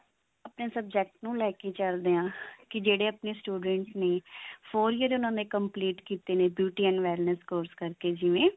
ਆਪਣੇ subject ਨੂੰ ਲੈ ਕਿ ਚੱਲਦੇ ਹਾਂ ਕੀ ਜਿਹੜੇ ਆਪਣੇ students ਨੇ ਉਹਨਾਂ ਨੇ complete ਕਿਤੇ ਨੇ beauty analysis course ਕਰਕੇ ਜਿਵੇਂ